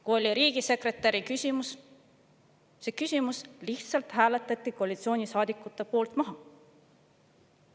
Kui oli riigisekretäri küsimus, siis see küsimus lihtsalt hääletati koalitsioonisaadikute poolt maha.